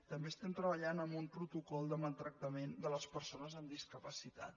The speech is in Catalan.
també estem treballant en un protocol de maltractament de les persones amb discapacitat